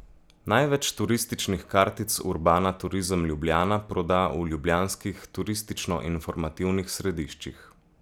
Največ turističnih kartic urbana Turizem Ljubljana proda v ljubljanskih turističnoinformativnih središčih.